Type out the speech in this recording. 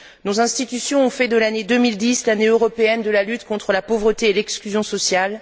Nos institutions ont fait de l'année 2010 l'Année européenne de la lutte contre la pauvreté et l'exclusion sociale.